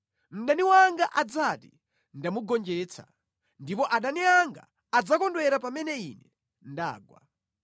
mdani wanga adzati, “Ndamugonjetsa,” ndipo adani anga adzakondwera pamene ine ndagwa.